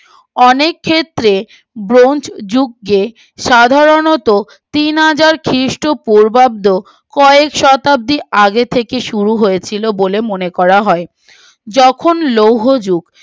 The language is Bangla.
অনেকক্ষেত্রে ব্রোঞ্জ যুগকে সাধারণত তিনহাজার খ্রীষ্ট পূর্বাব্দ কয়েক শতাব্দীর আগে থেকে শুরু হয়েছিল বলে মনে করা হয় যখন লৌহ যুগ